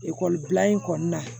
Ekɔlibila in kɔni na